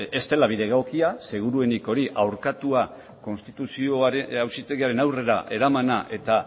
ez dela bide egokia seguruenik hori auzitegi konstituzionalaren aurrera eraman eta